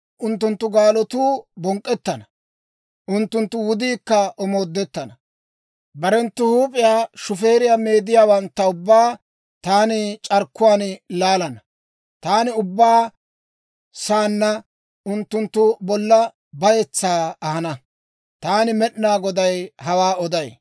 «Unttunttu gaalotuu bonk'k'ettana; unttunttu wudiikka omoodettana. Barenttu huup'iyaa shufeeriyaa meedissiyaawantta ubbaa taani c'arkkuwaan laalana; taani ubba saanna unttunttu bolla bayetsaa ahana. Taani Med'inaa Goday hawaa oday.